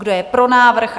Kdo je pro návrh?